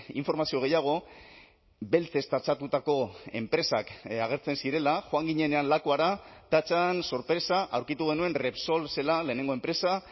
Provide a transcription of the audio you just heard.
informazio gehiago beltzez tatxatutako enpresak agertzen zirela joan ginenean lakuara ta chán sorpresa aurkitu genuen repsol zela lehenengo enpresa